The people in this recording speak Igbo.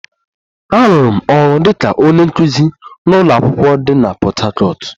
Arụrụ m ọrụ dị ka onye nkuzi n'ụlọ akwụkwọ dị na Port Harcourt